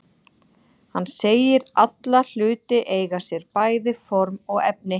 Hann segir alla hluti eiga sér bæði form og efni.